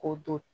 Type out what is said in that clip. K'o don